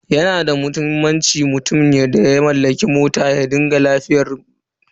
Yana da muhimmanci mutumin da ya mallaki mota ya rika duba lafiyar motarsa lokaci zuwa lokaci.